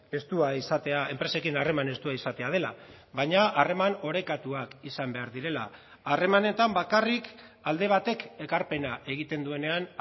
estua izatea enpresekin harreman estua izatea dela baina harreman orekatuak izan behar direla harremanetan bakarrik alde batek ekarpena egiten duenean